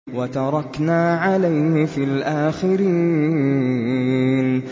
وَتَرَكْنَا عَلَيْهِ فِي الْآخِرِينَ